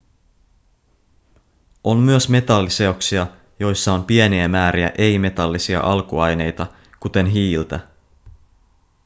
on myös metalliseoksia joissa on pieniä määriä ei-metallisia alkuaineita kuten hiiltä